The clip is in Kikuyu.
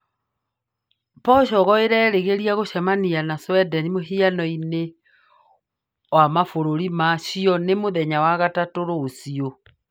Portugal ĩrerĩgĩria gũcemania na Sweden mũhiano-inĩ wa mabũrũri ma cio nĩ mũthenya wa gatatũ rũciũ.